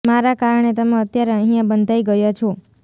મારા કારણે તમે અત્યારે અહીંયા બંધાઈ ગયા છો